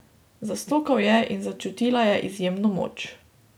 Zastokal je in začutila je izjemno moč.